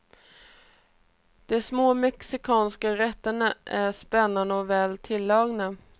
De små mexikanska rätterna är spännande och väl tilltagna.